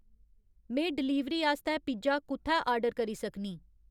में डलीवरी आस्तै पिज़्ज़ा कु'त्थै आर्डर करी सकनीं